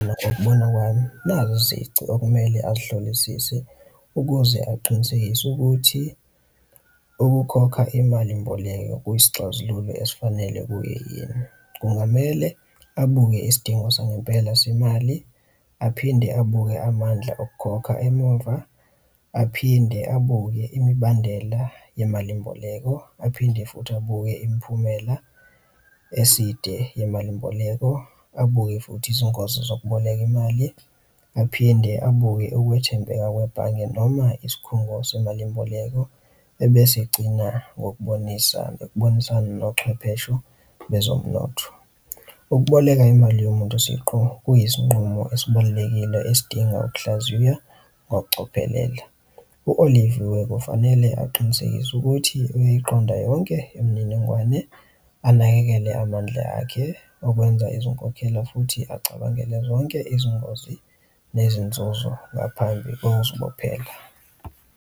Ngokubona kwami nazi izici okumele azihlolisise ukuze aqinisekise ukuthi ukukhokha imali mboleko kwisixazululo esifanele kuye yena. Kungamele abuke isidingo sangempela semali, aphinde abuke amandla okukhokha emumva, aphinde abuye imibandela yemalimboleko aphinde futhi abuke imiphumela eside yemalimboleko abuke futhi izingozi zokuboleka imali, aphinde abuke ukwethembeka kwebhange noma isikhungo semalimboleko, ebese egcina ngokubonisa ukubonisana nochwepheshe bezomnotho. Ukuboleka imali yomuntu siqu. Kuyisinqumo esibalulekile esidinga ukuhlaziya ngokucophelela. U-Oliviwe kufanele aqinisekise ukuthi uyayiqonda yonke imininingwane anakekele amandla akhe okwenza izinkokhelo futhi acabangele zonke izingozi nezinzuzo ngaphambi kokuzibophela.